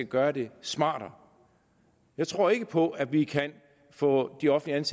gøre det smartere jeg tror ikke på at vi kan få de offentligt